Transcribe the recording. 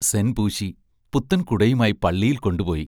സെൻ പൂശി, പുത്തൻ കുടയുമായി പള്ളിയിൽ കൊണ്ടുപോയി.